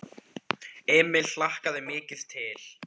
Emil hlakkaði mikið til.